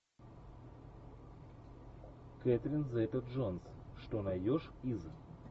кэтрин зета джонс что найдешь из